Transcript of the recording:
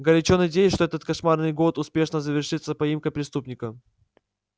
горячо надеюсь что этот кошмарный год успешно завершится поимкой преступника